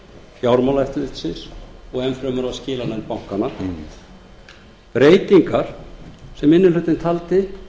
fjármálaeftirlitsins og enn fremur af skilanefndum bankanna breytingar sem minni hlutinn taldi